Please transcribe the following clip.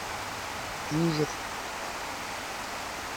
дюжев